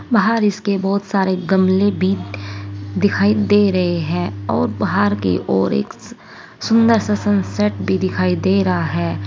बाहर इसके बहुत सारे गमले भी दिखाई दे रहे हैं और बाहर के और एक सुंदर सा सनसेट भी दिखाई दे रहा है।